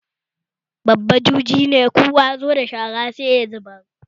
Babba juje ne, kowa yazo da shara sai ya zubar